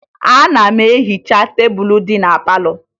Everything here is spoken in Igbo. Ana m ehicha tebulu dị na palọ